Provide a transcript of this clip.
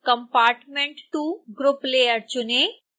compartment2 group layer चुनें